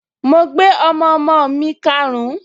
Mo gbé ọmọọmọ mi karùn-ún